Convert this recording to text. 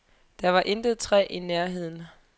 Der var intet træ i nærheden.